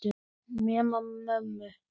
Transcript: Nema mömmu.